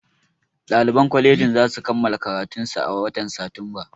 Ɗaliban kwaleji zasu kammala karatunsu a watan satumba